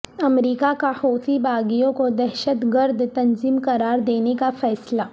امریکا کا حوثی باغیوں کو دہشت گرد تنظیم قرار دینے کا فیصلہ